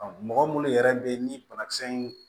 mɔgɔ munnu yɛrɛ be yen ni banakisɛ in